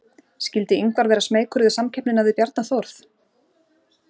Skyldi Ingvar vera smeykur við samkeppnina við Bjarna Þórð?